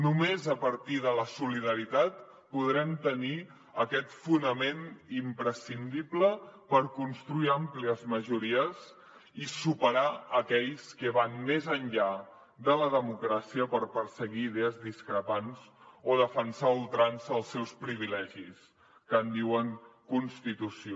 només a partir de la solidaritat podrem tenir aquest fonament imprescindible per construir àmplies majories i superar aquells que van més enllà de la democràcia per perseguir idees discrepants o defensar a ultrança els seus privilegis que en diuen constitució